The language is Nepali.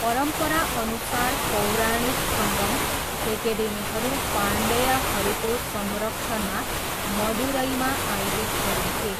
परम्पराअनुसार, पौराणिक सङ्गम, एकेडेमीहरू पाण्ड्यहरूको संरक्षणमा मदुरैमा आयोजित गरिन्थे।